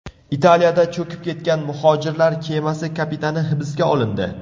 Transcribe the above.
Italiyada cho‘kib ketgan muhojirlar kemasi kapitani hibsga olindi.